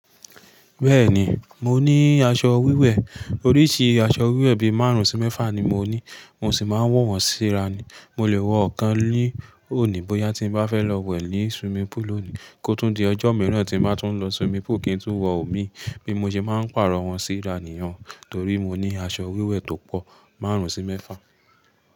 Bẹ́ẹ̀ni, mo ní aṣọ wíwẹ̀. Oríṣìí aṣọ wíwẹ̀ bí máàrún sí mẹ́fà ni mo ní mo sì máa ń wọ̀ wọ́n síra ni. Mo lè wọ ọ̀kan ní òní bóyá tí n bá fẹ́ lọ wẹ̀ ní swimming pool lòní. Kó tum di ọjọ́ mìíràn tí n bá tún lọ swimming pool kí n tún wọ òmí. Bí mo ṣe máa ń pàrọ̀ wọ́n síra nìyin-un. Torí mo ní aṣọ wíwẹ̀ tó pọ̀, máàrún sí mẹ́fà.